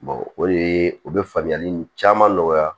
o de ye u bɛ faamuyali caman nɔgɔya